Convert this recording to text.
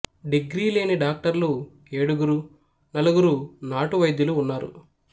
degree లేని డాక్టర్లు ఏడుగురు నలుగురు నాటు వైద్యులు ఉన్నారు